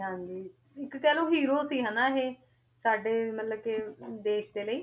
ਹਾਂਜੀ ਇੱਕ ਕਹਿ ਲਓ hero ਸੀ ਹਨਾ ਇਹ ਸਾਡੇੇ ਮਤਲਬ ਕਿ ਦੇਸ ਦੇ ਲਈ